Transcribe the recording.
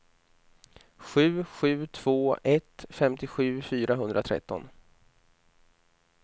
sju sju två ett femtiosju fyrahundratretton